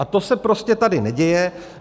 - A to se prostě tady neděje.